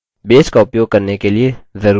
base का उपयोग करने के लिए जरूरी चीजें